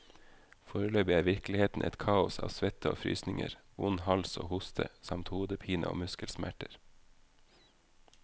Foreløpig er virkeligheten et kaos av svette og frysninger, vond hals og hoste, samt hodepine og muskelsmerter.